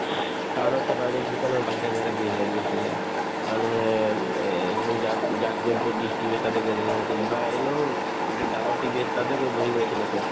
town ত চাবা একদম কিছুমানৰ বাহিৰে বাহিৰে ভিৰ লাগি আছিলে মানুহে এই যাক যাক য'তো dish TV তাতে gathering হৈ আছিলে বা এনেও উম যিটো ডাঙৰ TV আছিলে তাতে গৈ বহি গৈ আছিলে চব